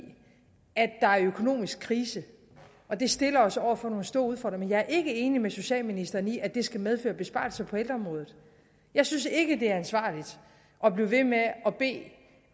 at der er økonomisk krise og det stiller os over for nogle store udfordringer men jeg er ikke enig med socialministeren i at det skal medføre besparelser på ældreområdet jeg synes ikke at det er ansvarligt at blive ved med